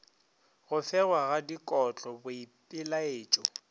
go fegwa ga dikotlo boipelaetšo